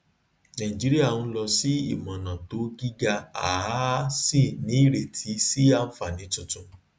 naìjíríà ń lọ sí imọọnà to gíga a a sì ní ireti sí ànfààní tuntun